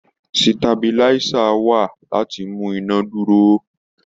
Sítabiláísà wà láti fi mú iná dúró.